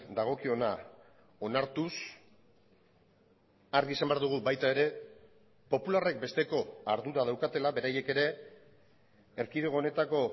dagokiona onartuz argi esan behar dugu baita ere popularrek besteko ardura daukatela beraiek ere erkidego honetako